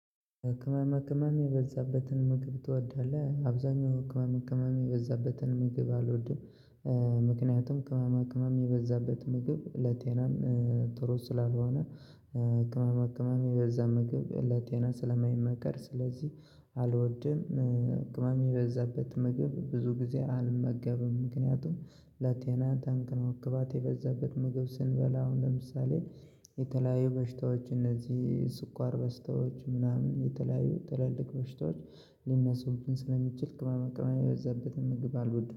ቅመማ ቅመም የበዛበትን ምግብ ትወዳለህ አብዛኛው ቅመማ ቅመም የበዛበትን ምግብ አልወድም። ምክንያቱም ቅመማ ቅመም የበዛበት ምግብ ለጤናም ጥሩ ስላልሆነ። ቅመማ ቅመም የበዛ ምግብ ለጤና ስለማይመከር ስለዚህ አልወድም። ቅመም በዛበት ምግብ ብዙ ጊዜ አልመገብም። ምክንያቱም ለጤና ጠንቅነው ቅባት የበዛበት ምግብ ስንበላ አሁን ለምሳሌ የተለያዩ በሽታዎች እነዚህ ስኳር በሽታዎች ምናምን የተለያዩ ትልልቅ ቦሽታዎች ሊነሱብን ስለሚችል። ቅመማ ቅመም የበዛበትን ምግብ አልወደውም